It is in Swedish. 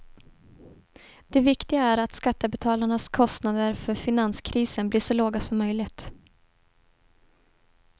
Det viktiga är att skattebetalarnas kostnader för finanskrisen blir så låga som möjligt.